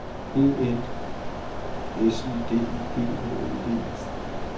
E N S I D I G H E D